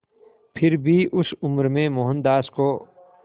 फिर भी उस उम्र में मोहनदास को